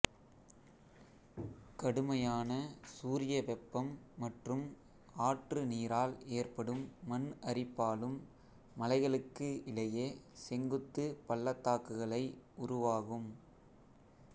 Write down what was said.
கடுமையான சூரிய வெப்பம் மற்றும் ஆற்று நீரால் ஏற்படும் மண் அரிப்பாலும் மலைகளுக்கு இடையே செங்குத்துப் பள்ளத்தாக்குகளை உருவாகும்